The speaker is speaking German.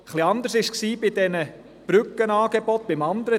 Etwas anders sah es bei den Brückenangeboten aus.